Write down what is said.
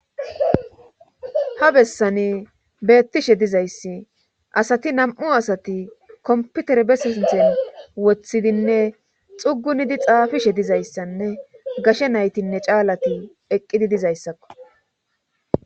Ha bessani beettishe dizayssi asati nam7u asati komputere besinthen woththidinne xugunidi xaafishe dizayssanne gashe naytinne caalati eqqidi dizayssakko.